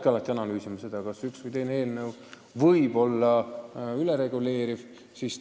Alati peabki analüüsima, ega üks või teine eelnõu ei tähenda ülereguleerimist.